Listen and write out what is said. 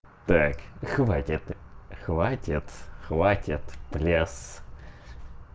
так хватит хватит хватит плёс